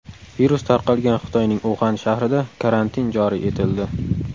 Virus tarqalgan Xitoyning Uxan shahrida karantin joriy etildi.